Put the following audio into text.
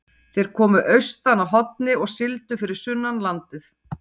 Þeir komu austan að Horni og sigldu fyrir sunnan landið.